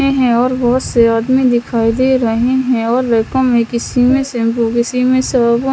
और बहुत से आदमी दिखाई दे रहे हैं और --]